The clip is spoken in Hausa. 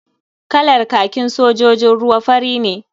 Kalar kakin sojojin ruwa fari ne.